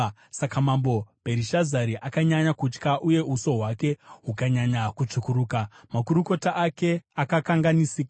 Saka Mambo Bherishazari akanyanya kutya uye uso hwake hukanyanya kutsvukuruka. Makurukota ake akakanganisika.